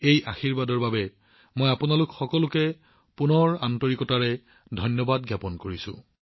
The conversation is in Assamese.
এই আশীৰ্বাদৰ বাবে মই আপোনালোক সকলোকে সম্পূৰ্ণ সন্মান জনাইছো